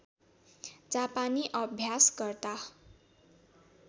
जापानी अभ्यासकर्ता